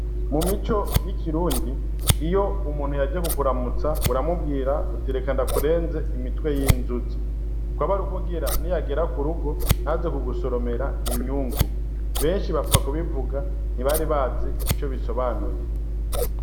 Mu mico y'ikirundi iyo umuntu yaje ku kuramutsa uramubwira uti reka ndakurenze imitwe y'inzuzi, kwaba ari kugira niyagera k'urugo ntaze kugusoromera imyungu, benshi bapfa kubivuga ntibari bazi ico bisobanuye.